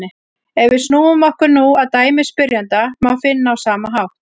Ef við snúum okkur nú að dæmi spyrjanda má finna á sama hátt: